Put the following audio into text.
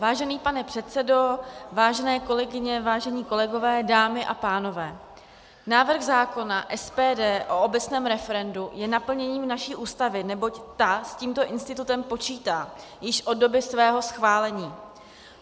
Vážený pane předsedo, vážené kolegyně, vážení kolegové, dámy a pánové, návrh zákona SPD o obecném referendu je naplněním naší Ústavy, neboť ta s tímto institutem počítá již od doby svého schválení.